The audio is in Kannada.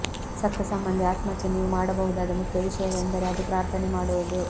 ಸತ್ತ ಸಂಬಂಧಿ ಆತ್ಮಕ್ಕೆ ನೀವು ಮಾಡಬಹುದಾದ ಮುಖ್ಯ ವಿಷಯವೆಂದರೆ ಅದು ಪ್ರಾರ್ಥನೆ ಮಾಡುವುದು